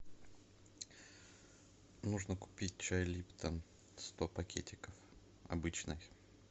нужно купить чай липтон сто пакетиков обычный